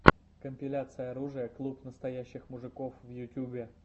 компиляция оружия клуб настоящих мужиков в ютьюбе